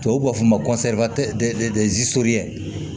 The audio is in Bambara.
Tubabuw b'a fɔ ma ko